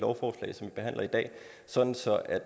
behandler i dag sådan